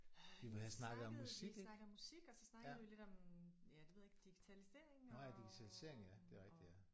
Øh vi snakkede vi snakkede om musik og så snakkede vi lidt om ja det ved jeg ikke digitalisering og og